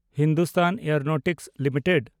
Hindustan aeronautics limited